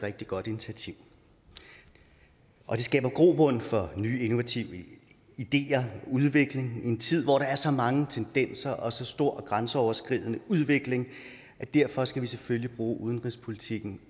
rigtig godt initiativ og det skaber grobund for nye innovative ideer og udvikling i en tid hvor der er så mange forskellige tendenser og så stor grænseoverskridende udvikling og derfor skal vi selvfølgelig også bruge udenrigspolitikken